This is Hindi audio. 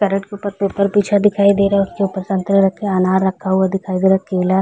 कैरेट के ऊपर पेपर बिछा दिखाई दे रहा है उसके ऊपर संतरे रखे है अनार रखा हुआ दिखाई दे रहा है केला --